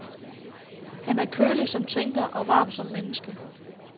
Han er kølig som tænker og varm som menneske.